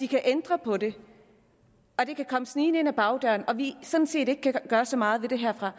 kan ændre på det det kan komme snigende ind ad bagdøren og vi sådan set ikke gøre så meget ved det herfra